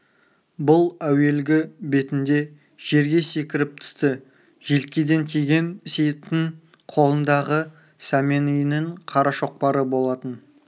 бұл әуелгі бетінде жерге секіріп түсті желкеден тиген сейіттің қолындағы сәмен үйінің қара шоқпары болатын